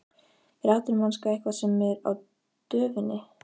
Er atvinnumennska eitthvað sem er á döfinni?